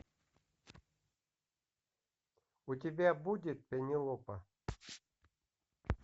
у тебя будет пенелопа